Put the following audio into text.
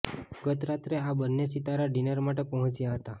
ગત રાત્રે આ બંને સિતારા ડિનર માટે પહોંચ્યા હતા